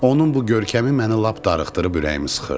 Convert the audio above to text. Onun bu görkəmi məni lap darıxdırıb ürəyimi sıxırdı.